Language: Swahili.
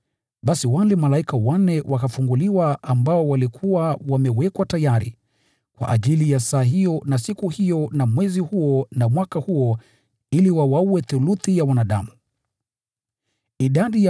Basi wale malaika wanne, waliokuwa wamewekwa tayari kwa ajili ya saa hiyo, na siku hiyo, na mwezi huo, na mwaka huo ili wawaue theluthi ya wanadamu wakafunguliwa.